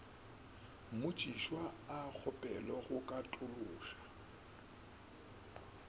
mmotšišwa a kgopelwe go katološa